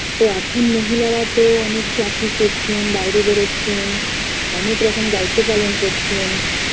তো এখন মহিলারা তো অনেকে চাকরি করছেন বাইরে বেরচ্ছেন অনেক রকম দায়িত্ব পালন করছেন